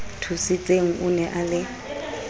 thusitseng o ne a le